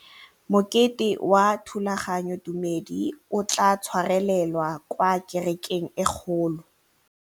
Mokete wa thulaganyôtumêdi o tla tshwarelwa kwa kerekeng e kgolo.